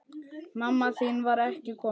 Mamma þín var ekki komin.